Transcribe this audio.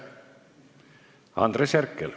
Andres Herkel.